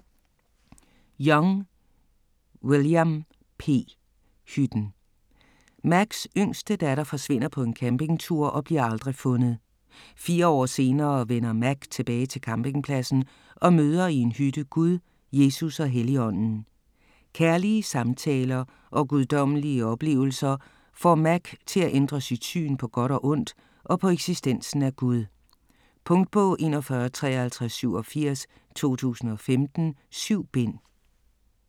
Young, William P.: Hytten Macks yngste datter forsvinder på en campingtur og bliver aldrig fundet. Fire år senere vender Mack tilbage til campingpladsen og møder i en hytte Gud, Jesus og Helligånden. Kærlige samtaler og guddommelige oplevelser får Mack til at ændre sit syn på godt og ondt og på eksistensen af Gud. Punktbog 415387 2015. 7 bind.